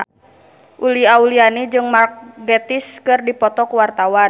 Uli Auliani jeung Mark Gatiss keur dipoto ku wartawan